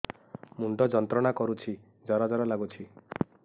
ମୁଣ୍ଡ ଯନ୍ତ୍ରଣା କରୁଛି ଜର ଜର ଲାଗୁଛି